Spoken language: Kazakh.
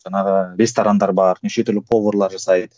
жаңағы ресторандар бар нешетүрлі поварлар жасайды